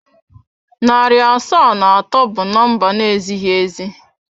Narị asaa na atọ bụ number na ezighị ezi.